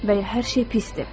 və ya hər şey pisdir.